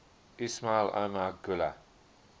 ismail omar guelleh